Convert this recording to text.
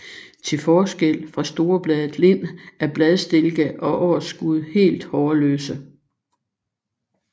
Til forskel fra storbladet lind er bladstilke og årsskud helt hårløse